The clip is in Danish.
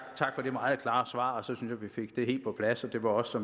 for det meget klare svar så synes at vi fik det helt på plads og det var også